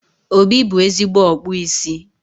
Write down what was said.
Obi bụ ezigbo ọkpụ isi